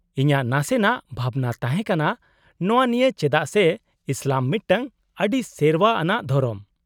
-ᱤᱧᱟᱹᱜ ᱱᱟᱥᱮᱱᱟᱜ ᱵᱷᱟᱵᱱᱟ ᱛᱟᱦᱮᱸ ᱠᱟᱱᱟ ᱱᱚᱶᱟ ᱱᱤᱭᱟᱹ ᱪᱮᱫᱟᱜ ᱥᱮ ᱤᱥᱞᱟᱢ ᱢᱤᱫᱴᱟᱝ ᱟᱹᱰᱤ ᱥᱮᱨᱶᱟ ᱟᱱᱟᱜ ᱫᱷᱚᱨᱚᱢ ᱾